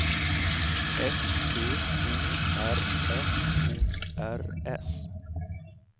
S T O R F O R S